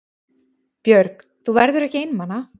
Björg: Þú verður ekki einmana?